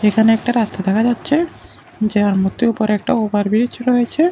এখানে একটা রাস্তা দেখা যাচ্ছে যার মধ্যে উপর একটা ওভার ব্রিজ রয়েছে।